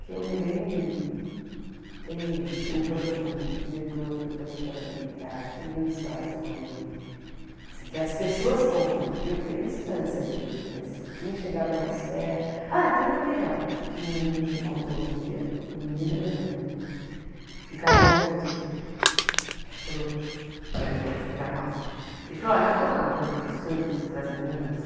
que eu me lembre tem assim o pro tem o diretor que eu falei que era militar tem mil histórias com ele que as pessoas contam porque eu queria a distância dele mas quem chegava mais per ah tem uma legal que um menino contou outro dia um menino é legal também né um cara contou outro dia ele falou para mim a para nós ele falou olha eu vou contar uma coisa para vocês para as meninas